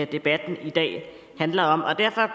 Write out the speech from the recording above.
debatten i dag handler om og derfor